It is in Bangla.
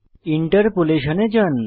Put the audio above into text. ইন্টারপোলেশন এ যান